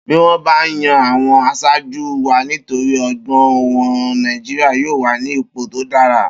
Bi won ba yan awon asaaju wa nitori ogbon won, Naijiria yoo wa ni ipo to dara.